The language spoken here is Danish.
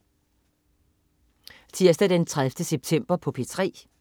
Tirsdag den 30. september - P3: